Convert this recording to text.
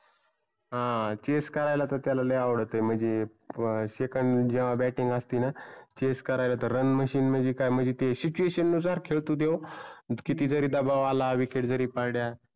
हं chess करायला त्याला लय आवडतं म्हणजे जेव्हा second जेव्हा batting असती ना chess करायला तर run machine म्हणजी काय म्हणजी ते situation नुसार खेळतो त्यो. म्हणजे किती जरी दबाव आला wicket जरी पडल्या.